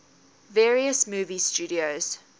various movie studios